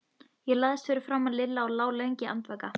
Ég lagðist fyrir framan Lilla og lá lengi andvaka.